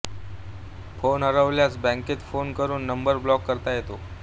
phone हरवल्यास बँकेत phone करून नंबर ब्लॉक करता येतो